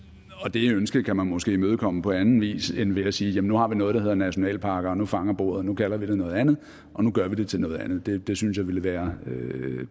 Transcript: det ønske kan man måske imødekomme på anden vis end ved at sige nu har vi noget der hedder nationalparker og nu fanger bordet nu kalder vi det noget andet og nu gør vi det til noget andet det synes jeg ville være